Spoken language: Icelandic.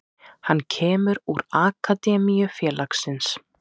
Hann kemur úr akademíu félagsins.